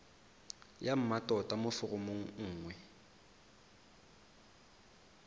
ya mmatota mo foromong nngwe